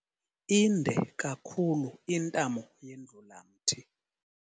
Inde kakhulu intamo yendlulamthi.